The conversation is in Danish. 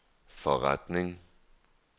forretning